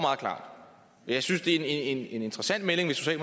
jeg synes det er en en interessant melding hvis